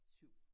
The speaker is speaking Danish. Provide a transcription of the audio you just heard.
7